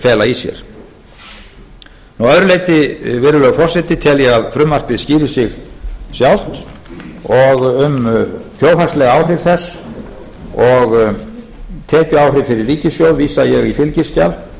fela í sér að öðru leyti virðulegi forseti tel ég að frumvarpið skýri sig sjálft og um þjóðhagsleg áhrif þess og tekjuáhrif fyrir ríkissjóð vísa ég í fylgiskjal